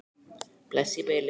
Bless í bili.